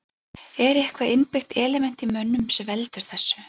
Er eitthvað innbyggt element í mönnum sem veldur þessu?